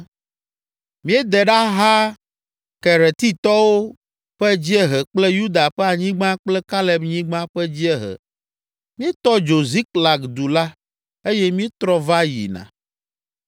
Míede ɖaha Keretitɔwo ƒe dziehe kple Yuda ƒe anyigba kple Kaleb nyigba ƒe dziehe, míetɔ dzo Ziklag du la eye míetrɔ va yina.”